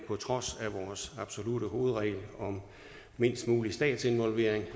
på trods af vores absolutte hovedregel om mindst mulig statsinvolvering